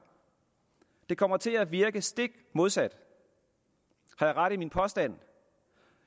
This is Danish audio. det kommer til at virke stik modsat har jeg ret i min påstand